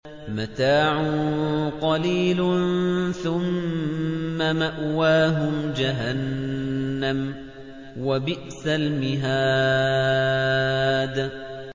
مَتَاعٌ قَلِيلٌ ثُمَّ مَأْوَاهُمْ جَهَنَّمُ ۚ وَبِئْسَ الْمِهَادُ